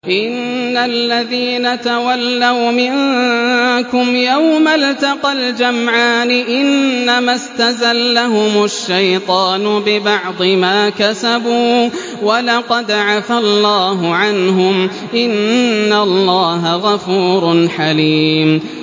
إِنَّ الَّذِينَ تَوَلَّوْا مِنكُمْ يَوْمَ الْتَقَى الْجَمْعَانِ إِنَّمَا اسْتَزَلَّهُمُ الشَّيْطَانُ بِبَعْضِ مَا كَسَبُوا ۖ وَلَقَدْ عَفَا اللَّهُ عَنْهُمْ ۗ إِنَّ اللَّهَ غَفُورٌ حَلِيمٌ